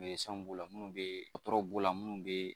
b'o la minnu bɛ b'o la minnu bɛ